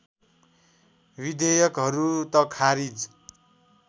विधेयकहरू त खारिज